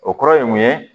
O kɔrɔ ye mun ye